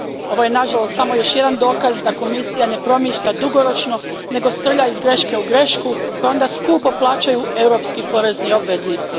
Ovo je nažalost samo još jedan dokaz da Komisija ne promišlja dugoročno, nego srlja iz greške u grešku koje onda skupo plaćaju europski porezni obveznici.